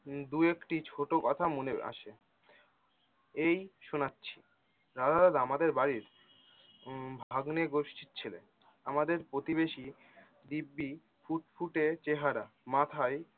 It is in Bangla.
দু একটা ছোটো কথা মনে আসে। এই শোনাচ্ছি রাধা দাদা আমাদের বাড়ির উম ভাগ্নের গোষ্ঠীর ছিলেন আমাদের প্রতিবেশী দিব্বি ফুট ফুটে চেহারা মাথায়